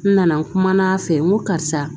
N nana n kumana a fɛ n ko karisa